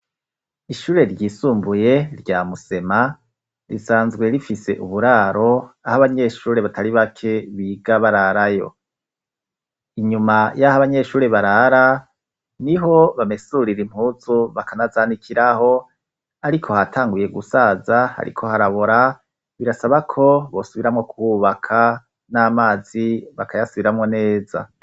Ishure ryisumbuye rya musema, risanzwe rifise uburaro aho abanyeshuri batari bake biga bararayo. Inyuma y'aho abanyeshuri barara niho bamesurira impuzu bakanazanikiraho ariko hatanguye gusaza ariko harabora birasaba ko bosubiramwo kuwubaka n'amazi bakayasubiramo neza.